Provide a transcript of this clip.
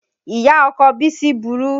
Ìyá ọkọ Bisi burú